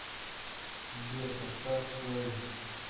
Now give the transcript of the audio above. сбер поставь слэйм